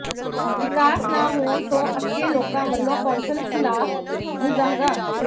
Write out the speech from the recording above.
ਵਿਕਾਸ ਨਾ ਹੋਣ ਤੋਂ ਅੱਕੇ ਲੋਕਾਂ ਵਲੋਂ ਕੌਂਸਲ ਖਿਲਾਫ ਮੁਜ਼ਾਹਰਾ